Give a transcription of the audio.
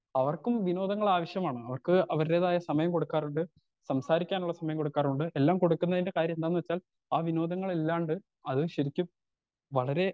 അവർക്കും വിനോദങ്ങൾ ആവശ്യമാണ് അവർക്ക് അവരുടേതായ സമയം കൊടുക്കാറുണ്ട് സംസാരിക്കാനുള്ള സമയം കൊടുക്കാറുണ്ട് എല്ലാം കൊടുക്കാനത്തിന്റെ കാര്യം എന്താന്ന് വെച്ചാൽ ആ വിനോദങ്ങൾ ഇല്ലാണ്ട് അത് ശരിക്കും വളരെ